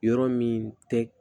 Yɔrɔ min tɛ